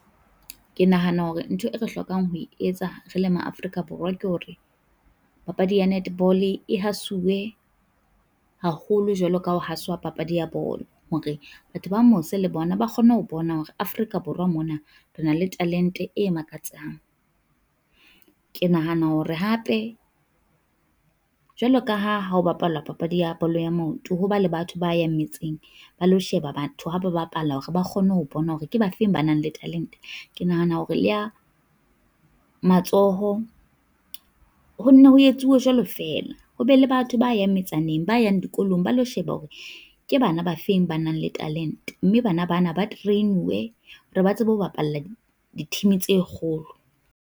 Ke nahana hore ntho e re hlokang ho etsa re le ma Afrika Borwa ke hore, papadi ya netball-e e hasuwe haholo jwalo ka ho hasuwa papadi ya bolo. Hore batho ba mose le bona ba kgone ho bona hore Afrika Borwa mona re na le talente e makatsang. Ke nahana hore hape jwalo ka ha ha ho bapala papadi ya bolo ya maoto, ho ba le batho ba yang metseng ba lo sheba batho ha ba bapalla, hore ba kgone ho bona hore ke ba fe ba nang le talente. Ke nahana hore le ya matsoho ho nne ho etsuwe jwalo feela, ho be le batho ba yang metsaneng ba yang dikolong ba lo sheba hore ke bana ba feng ba nang le talente. Mme bana bana ba train-uwe hore ba tsebe ho bapalla di team tse kgolo.